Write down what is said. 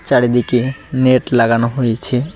চারিদিকে নেট লাগানো হয়েছে।